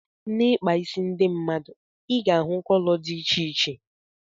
N'ikpa ịsị ndị mmadụ ị ga-ahụ kọlọ dị iche iche.